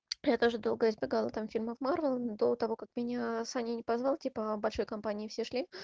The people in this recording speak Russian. я тоже долго избегала там фильмов марвел до того как меня саня не позвал типа большой компании все шли